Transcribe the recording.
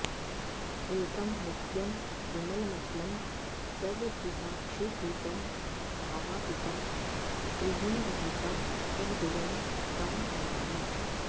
एकं नित्यं विमलमचलं सर्वधीसाक्षिभूतम् भावातीतं त्रिगुणरहितं सद्गुरुं तं नमामि